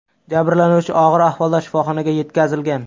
Jabrlanuvchi og‘ir ahvolda shifoxonaga yetkazilgan.